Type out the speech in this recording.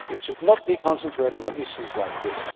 It should not be concentrating on issues like this.